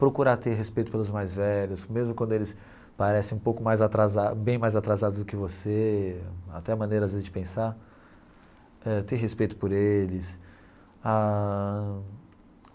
Procurar ter respeito pelos mais velhos, mesmo quando eles parecem um pouco mais atrasados, bem mais atrasados do que você, até maneiras de pensar, ter respeito por eles ãh.